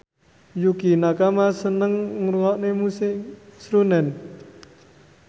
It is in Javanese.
Yukie Nakama seneng ngrungokne musik srunen